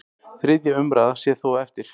Þriðja umræða sé þó eftir.